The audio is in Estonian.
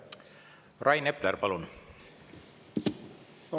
Rain Epler, palun!